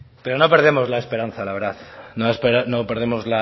pero no perdemos la esperanza la verdad no perdemos